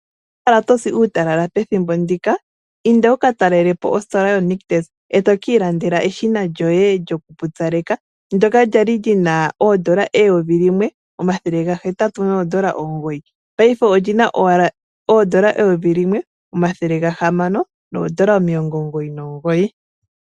Ino kala to si uutalala pethimbo ndika, inda wu ka talele po ositola yoNictus e to ka ilandela eshina lyoye lyokupupyaleka ndyoka lyali li na oondola eyovi limwe, omathele gahetatu noondola omugoyi, paife oli na wala oondola eyovi limwe, omathele gahamano noondola omilongo omugoyi nomugoyi.